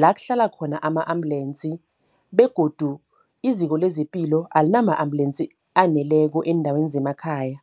la kuhlala khona ama-ambulensi. Begodu iziko lezepilo alinama-ambulensi aneleko eendaweni zemakhaya.